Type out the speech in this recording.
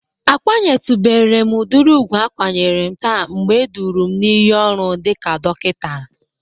A kwanyetubere m udịri ugwu akwanyere m taa mgbe eduru m n"iyi ọrụ dịka dokinta.